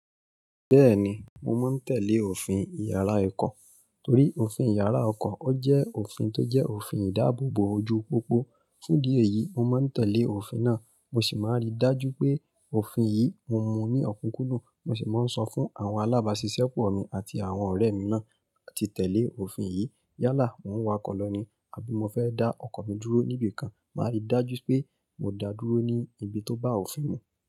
Bẹ́ẹ̀ni, mo máa ń tẹ́lẹ̀ òfin ìyára ọkọ̀ torí òfin ìyára ọkọ̀ ó jẹ́ òfin tó jẹ́ òfin ìdáàbòbò ojú pópó. Fún ìdí èyí, mo máa n tẹlẹ òfin náà, mọ ṣí máa n ri daju pé òfin yii, mo mú ni okukundun. Mo ṣì máa ń sọ fún àwọn alábàáṣiṣẹ́ pọ̀ mi àti àwọn ọ̀rẹ́ mi náà láti tẹ̀lé òfin yìí. Yálà, mò ń wakọ̀ lọ ní àbí mo fẹ́ dá ọkọ̀ mi dúró níbi kan, màá rí dájú pé mo dáa dúró ní ibi tó bá òfin mú.